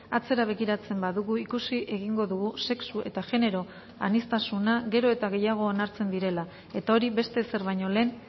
atzera begiratzen badugu ikusi egingo dugu sexu eta genero aniztasuna gero eta gehiago onartzen direla eta hori beste ezer baino lehen